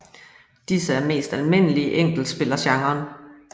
Disse er mest almindelige i enkeltspillergenren